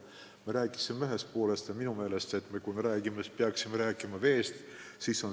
Me rääkisime siin probleemi ühest poolest, aga minu meelest peaksime rääkima ka teisest poolest: veest.